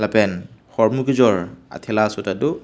pen hormu kejor athela aso tado.